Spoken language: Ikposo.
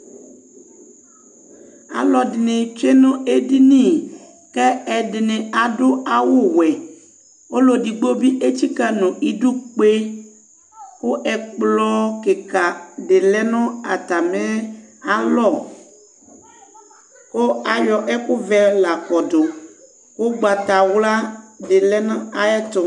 Alɔdini tchué nu édini kɛ ɛdinɩ adu awʊ wuɛ Alɔdigbo bi atsika nu idu kpe, ku ɛkplɔ kika di lɛnu atamialɔ ku ayɔ ɛku ʋɛ la kɔdu, ugbata wla di lɛ na ayɛtu